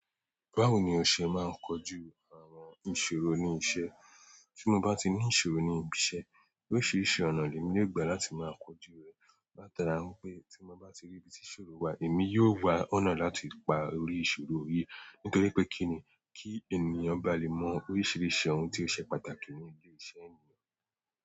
Báwo ni o ṣe máa ń kọju àwọn ìṣòro ní iṣẹ́? Tí mo bá ti ní ìṣòro ní ibi iṣẹ̀, oríṣiríṣi ọ̀nà ni emi lè gbà láti máa kojú rẹ̀. Látara wípé tí mo bá rí ibi tí ìṣòro wà, èmi yóò wá ọ̀nà láti pa orí ìṣòro yí. Nítorí pé kíni, ki ènìyàn bá lè mọ oríṣiríṣi ohun tí ó ṣe pàtàkì ní ile iṣẹ́ ni.